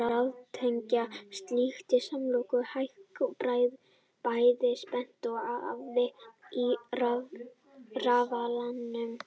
Með því að raðtengja tug slíkra samloka hækkar bæði spenna og afl í rafalanum.